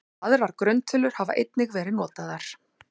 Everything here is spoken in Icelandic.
Aðrar grunntölur hafa einnig verið notaðar.